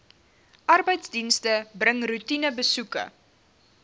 arbeidsdienste bring roetinebesoeke